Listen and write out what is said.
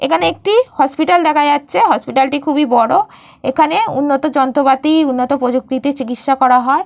এখানে একটি হসপিটাল দেখা যাচ্ছে। হসপিটাল টি খুবই বড়। এখানে উন্নত যন্ত্রপাতি উন্নত প্রযুক্তিতে চিকিৎসা করা হয়।